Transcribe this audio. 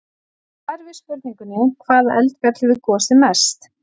Í svari við spurningunni: Hvaða eldfjall hefur gosið mest?